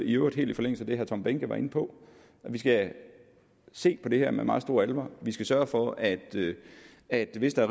i øvrigt helt i forlængelse af det herre tom behnke var inde på skal se på det her med meget stor alvor vi skal sørge for at at hvis der